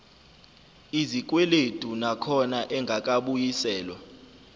izikweledu nakhona engakabuyiselwa